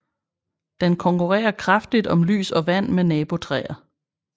Den konkurrerer kraftigt om lys og vand med nabotræer